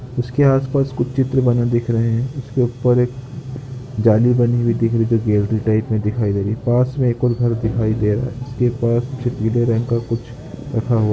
उसके आसपास कुछ चित्र बने दिख रहे हैं। उसके ऊपर एक जाली बनी हुई दिख रही जो गैलरी टाइप में दिखाई दे रही है। पास में एक और घर दिखाई दे रहा है उसके पास पीले रंग का कुछ रखा हुआ।